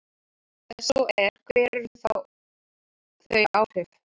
Ef svo er, hver eru þá þau áhrif?